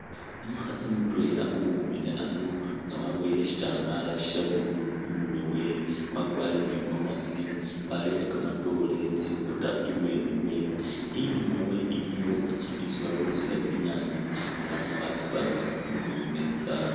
Umukhaasi mutweela uwimile ano nga waboyile shitambaala sya blue i'murwe we. Wakwarire in igomasi warere kamatoore tsingota ibweeni we iliwo yesi ki isi bakulisila tsinyaanye ela nga tsipangakakile tsili khu meetsa.